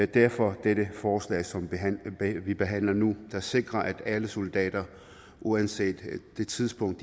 derfor dette forslag som vi behandler nu der sikrer at alle soldater uanset det tidspunkt